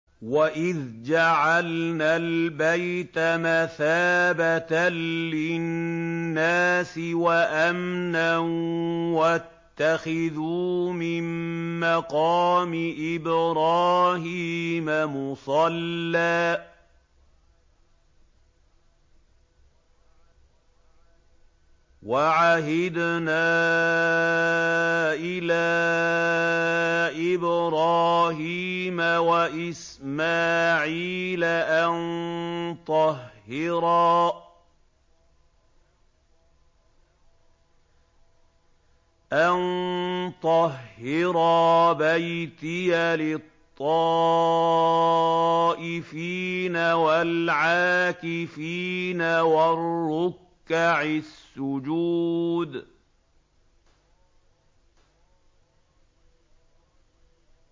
وَإِذْ جَعَلْنَا الْبَيْتَ مَثَابَةً لِّلنَّاسِ وَأَمْنًا وَاتَّخِذُوا مِن مَّقَامِ إِبْرَاهِيمَ مُصَلًّى ۖ وَعَهِدْنَا إِلَىٰ إِبْرَاهِيمَ وَإِسْمَاعِيلَ أَن طَهِّرَا بَيْتِيَ لِلطَّائِفِينَ وَالْعَاكِفِينَ وَالرُّكَّعِ السُّجُودِ